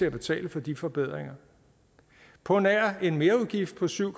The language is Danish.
at betale de forbedringer på nær en merudgift på syv